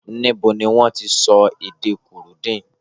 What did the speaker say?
Níbo ni wọ́n ti ń sọ èdè Kurundi?